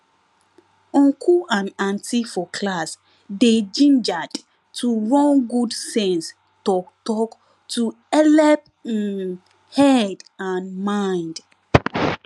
uncle and auntie for class dey gingered to run good sense talktalk to helep um head and mind